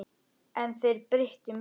En þeir breyttu miklu.